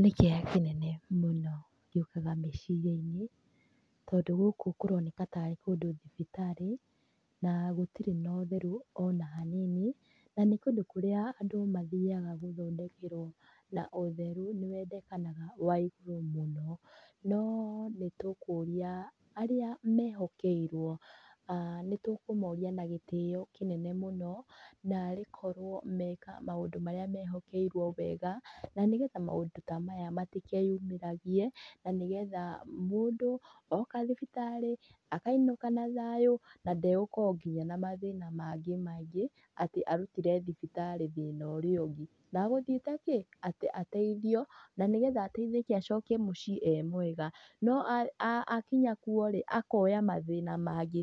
Nĩ kĩeha kĩnene mũno gĩũkaga meciria-inĩ, tondũ gũkũ kũroneka tarĩ kũndũ thibitarĩ na gũtirĩ na ũtheru ona hanini, na nĩ kũndũ kũrĩa andũ mathiaga gũthondekerwo, na ũtherũ nĩ wendekanaga wa igũrũ mũno. No nĩ tũkũria arĩa mehokeirwo, nĩ tũkũmoria na gĩtĩo kĩnene mũno, narĩkorwo meka maũndũ marĩa mehokeirwo wega, na nĩgetha maũndũ ta maya matĩkeyumĩragie, na nĩgetha mũndũ oka thibitarĩ, akainũka na thayũ, na ndegũkorwo na mathina mangĩ maingĩ, atĩ arutire thibitarĩ thĩna ũrĩa ũngĩ na atĩ athire kĩ? Ateithĩke acoke mũciĩ e mwega. No akinya kũu akongania mathĩna mangĩ